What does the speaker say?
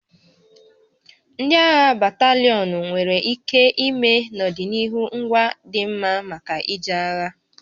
Ndị agha batalịọnụ nwere ike ime n'ọdịnihu ngwa dị mma maka ije agha